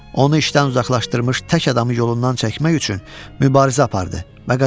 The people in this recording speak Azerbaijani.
Onu işdən uzaqlaşdırmış tək adamı yolundan çəkmək üçün mübarizə apardı və qazandı.